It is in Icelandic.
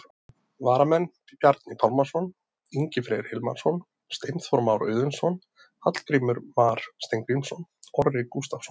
Varamenn: Bjarni Pálmason, Ingi Freyr Hilmarsson, Steinþór Már Auðunsson, Hallgrímur Mar Steingrímsson, Orri Gústafsson.